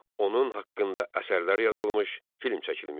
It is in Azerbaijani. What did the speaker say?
Onun haqqında əsərlər yazılmış, film çəkilmişdir.